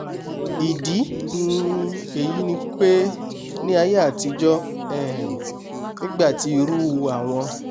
ìdí um èyí ni pé ní aiyé àtijọ́ um nígbàtí irú àwọn